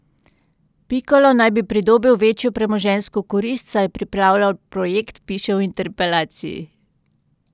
Pikalo naj bi pridobil večjo premoženjsko korist, saj je pripravljal projekt, piše v interpelaciji.